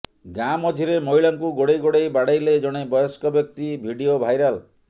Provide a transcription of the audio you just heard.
ଗାଁ ମଝିରେ ମହିଳାଙ୍କୁ ଗୋଡ଼େଇ ଗୋଡ଼େଇ ବାଡେଇଲେ ଜଣେ ବୟସ୍କ ବ୍ୟକ୍ତି ଭିଡିଓ ଭାଇରାଲ